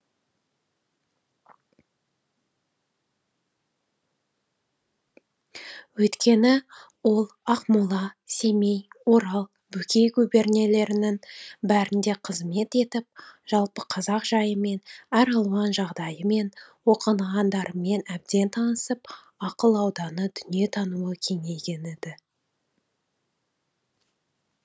өйткені ол ақмола семей орал бөкей губернелерінің бәрінде қызмет етіп жалпы қазақ жайымен әр алуан жағдайымен оқығандарымен әбден танысып ақыл ауданы дүние тануы кеңейген еді